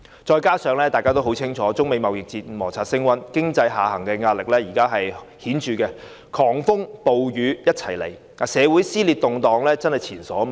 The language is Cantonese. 再者，大家很清楚知道，隨着中美貿易摩擦升溫，經濟下行的壓力十分顯著，狂風暴雨一起到來，社會上的撕裂和動盪真的是前所未見。